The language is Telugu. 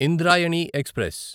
ఇంద్రాయణి ఎక్స్ప్రెస్